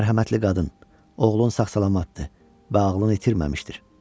"Mərhəmətli qadın, oğlun sağ-salamatdır və ağlını itirməmişdir.